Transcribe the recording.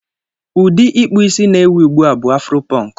Ụdị ịkpụ isí na-ewi ugbu a bụ afuro pọnk.